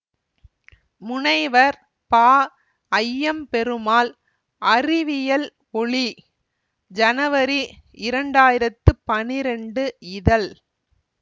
முனைவர் பஐயம்பெருமாள் அறிவியல் ஒளிஜனவரி இரண்டாயிரத்தி பனிரெண்டு இதழ்